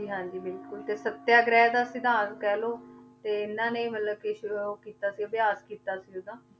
ਹਾਂਜੀ ਹਾਂਜੀ ਬਿਲਕੁਲ ਤੇ ਸਤਿਆਗ੍ਰਹਿ ਦਾ ਸਿਧਾਂਤ ਕਹਿ ਲਓ ਤੇ ਇਹਨਾਂ ਨੇ ਮਤਲਬ ਕਿ ਸ਼ੁਰੂ ਕੀਤਾ ਸੀ ਅਭਿਆਸ ਕੀਤਾ ਸੀ ਉਹਦਾ,